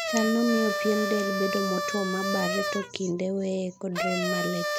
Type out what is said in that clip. Chaal no miyo pien del bedo motwo mabarre to kinde weye kod rem malit.